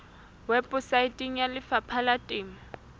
weposaeteng ya lefapha la temo